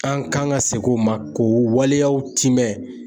An kan ka segin o ma k'o waleyaw tiimɛ